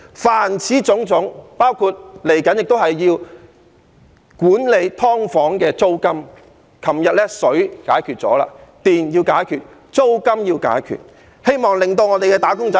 凡此種種，包括接下來亦要管制"劏房"的租金，我們昨天解決了水費的問題，電費要解決，租金亦要解決，希望令我們的"打工仔"......